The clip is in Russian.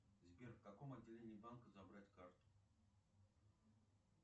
сбер в каком отделении банка забрать карту